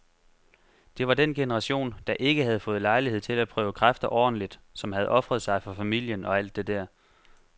Det var den generation, der ikke havde fået lejlighed til at prøve kræfter ordentligt, som havde ofret sig for familien og alt det der.